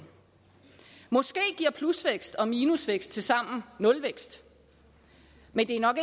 måske giver plusvækst og minusvækst tilsammen nulvækst men det er nok